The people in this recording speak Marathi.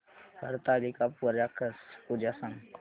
हरतालिका पूजा सांग